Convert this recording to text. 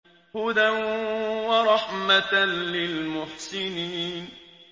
هُدًى وَرَحْمَةً لِّلْمُحْسِنِينَ